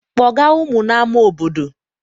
Kpọga ụmụ n'ama obodo!